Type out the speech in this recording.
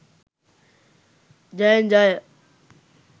ජයෙන් ජය!